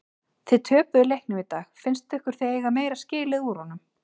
Þið töpuðu leiknum í dag fannst ykkur þið eiga meira skilið úr honum?